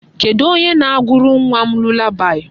Kedụ onye ga-agụrụ nwa m lulabaị?